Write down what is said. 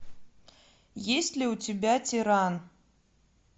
есть ли у тебя тиран